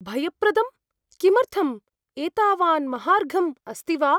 भयप्रदं? किमर्थं? एतावन् महार्घम् अस्ति वा?